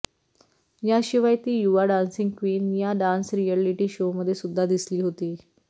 याशिवाय ती युवा डान्सिंग क्वीन या डान्स रिअलिटी शोमध्ये सुद्धा दिसली होती